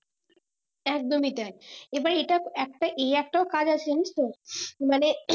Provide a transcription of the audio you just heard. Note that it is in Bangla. একদমই তাই এবার এটা একটা এই একটাও কাজ আছে জানিস তো মানে